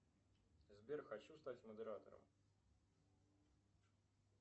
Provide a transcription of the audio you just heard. сбер хочу стать модератором